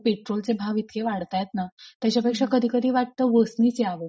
पेट्रोलचे भाव इतके वाढतायत ना की त्याच्या पेक्षा कधी कधी वाटतं बसनीच यावं.